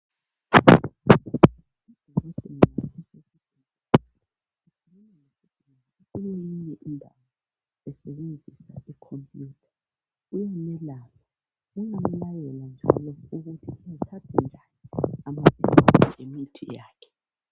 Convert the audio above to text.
Kulenye indawo esebenzisa icomputer, uyamelapha. Uyamlayela njalo ukuthi athathe njani amaphilisi lemithi yakhe.